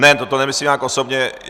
Ne, toto nemyslím nijak osobně.